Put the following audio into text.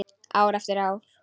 Ár eftir ár.